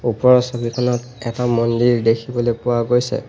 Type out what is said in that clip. ওপৰৰ ছবিখনত এটা মন্দিৰ দেখিবলৈ পোৱা গৈছে।